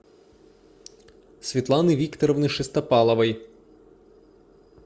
светланы викторовны шестопаловой